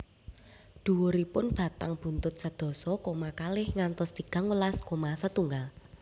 Dhuwuripun batang buntut sedasa koma kalih ngantos tigang welas koma setunggal